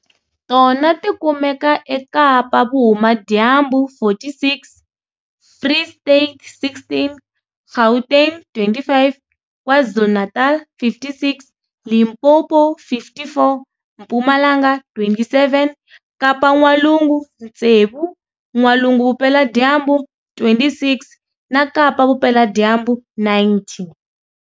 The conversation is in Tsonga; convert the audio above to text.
Tona ti kumeka eKapa-Vuhumadyambu, 46, Free State, 16, Gauteng, 25, KwaZulu-Natal, 56, Limpopo, 54, Mpumalanga, 27, Kapa-N'walungu, tsevu, N'walunguVupeladyambu, 26 na Kapa-Vupeladyambu, 90.